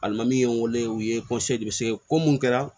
Alimami min ye n wele u ye ko mun kɛra